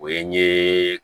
O ye n ye